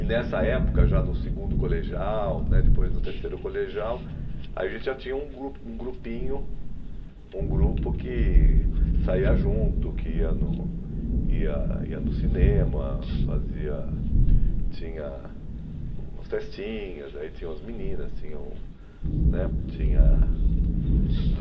E nessa época, já no segundo colegial né, depois no terceiro colegial, a gente já tinha um grupo um grupinho, um grupo que saía junto, que ia no ia ia no cinema, fazia... Tinha umas festinhas, aí tinham as meninas, tinham... né, tinha a...